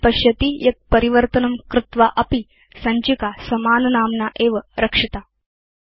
भवान् पश्यति यत् परिवर्तनं कृत्वा अपि सञ्चिका समाननाम्ना एव रक्षिता